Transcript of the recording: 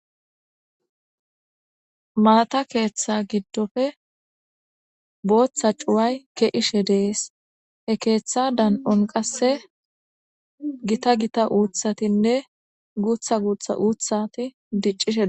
Malata keeththa giddofe booththa cuway ke7ishe dees he keeththa dan7on qasse gita gita uuthatinne guutha guutha uuthati diccishe.